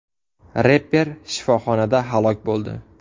Reper shifoxonada halok bo‘ldi.